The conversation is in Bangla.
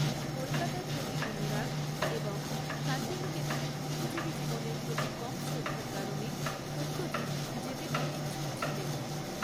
কলকাতার প্রতি অনুরাগ এবং শান্তিনিকেতনে বুদ্ধিজীবী জীবনের প্রতি কম শ্রদ্ধার কারণে সত্যজিৎ যেতে অনিচ্ছুক ছিলেন।